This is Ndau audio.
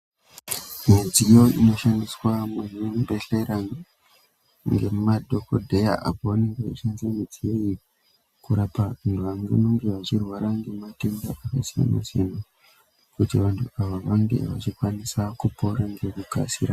Midziyo inoshandiswa muzvibhedlera ngemadhokodheya apo pavanenge vachishandisa midziyo iyi kurapa vanhu vanenge vachirwa ngematenda akasiyana siyana kuti vantu ava vange vachikwanisa kupora ngekukasira.